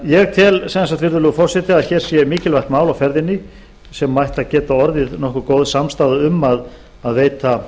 ég tel sem sagt virðulegi forseti að hér sé mikilvægt mál á ferðinni sem ætti að geta orðið nokkuð góð samstaða um að veita